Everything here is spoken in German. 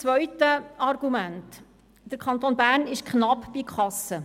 Zweitens: Der Kanton Bern ist knapp bei Kasse.